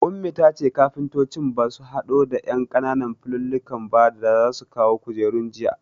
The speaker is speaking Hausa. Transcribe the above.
Ummi tace kafuntocin basu hado da ƴan ƙananan fulallikan ba da za su kawo kujerun jiya